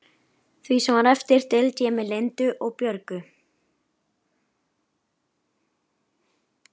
Því sem var eftir deildi ég með Lindu og Björgu.